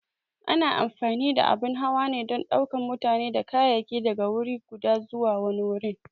A na amfani da abun hawa ne don ɗaukan mutane da kayayyaki daga wuri guda zuwa wani wurin.